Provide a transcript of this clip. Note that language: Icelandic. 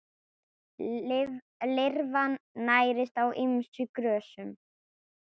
Lirfan nærist á ýmsum grösum.